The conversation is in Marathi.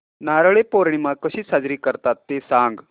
नारळी पौर्णिमा कशी साजरी करतात ते सांग